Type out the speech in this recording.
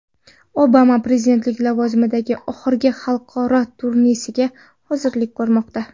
Obama prezidentlik lavozimidagi oxirgi xalqaro turnesiga hozirlik ko‘rmoqda.